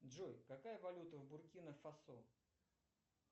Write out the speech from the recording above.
джой какая валюта в буркина фасо